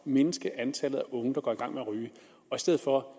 mindske antallet af unge mennesker der går i gang med at ryge i stedet for